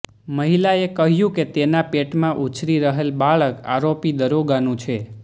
મહિલાએ કહ્યું કે તેના પેટમાં ઉછરી રહેલ બાળક આરોપી દરોગા નું છે